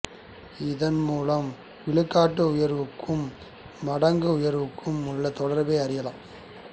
இதன் மூலம் விழுக்காட்டு உயர்வுக்கும் மடங்கு உயர்வுக்கும் உள்ள தொடர்பை அறியலாம்